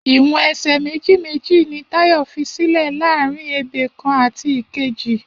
Iwọn ẹsẹ méji méji ni Tayo físìlè làárín ébé kán àtí kéji